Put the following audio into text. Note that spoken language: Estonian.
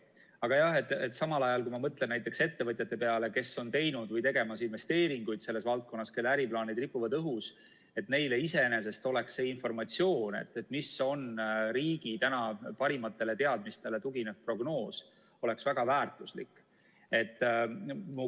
Aga jah, samal ajal kui ma mõtlen näiteks ettevõtjate peale, kes on teinud või tegemas investeeringuid selles valdkonnas, kelle äriplaanid ripuvad õhus, siis neile oleks see informatsioon, mis on riigi tänastele parimatele teadmistele tuginev prognoos, väga väärtuslik.